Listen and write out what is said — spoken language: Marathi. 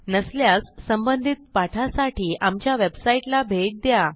नसल्यास संबंधित पाठासाठी आमच्या वेबसाईटला भेट द्या